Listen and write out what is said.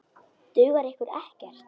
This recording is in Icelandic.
Dugar ykkur ekkert?